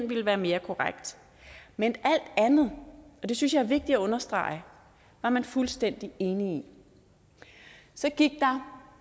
ville være mere korrekt men alt andet og det synes jeg er vigtigt at understrege var man fuldstændig enig i så gik der